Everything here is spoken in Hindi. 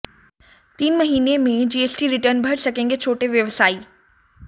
तीन महीने में जीएसटी रिटर्न भर सकेंगे छोटे व्यवसायी